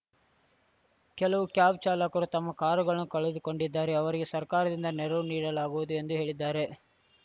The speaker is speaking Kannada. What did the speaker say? ಕೆಲವು ಕ್ಯಾಬ್‌ ಚಾಲಕರು ತಮ್ಮ ಕಾರುಗಳನ್ನು ಕಳೆದುಕೊಂಡಿದ್ದಾರೆ ಅವರಿಗೆ ಸರ್ಕಾರದಿಂದ ನೆರವು ನೀಡಲಾಗುವುದು ಎಂದು ಹೇಳಿದ್ದಾರೆ